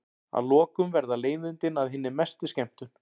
Að lokum verða leiðindin að hinni mestu skemmtun.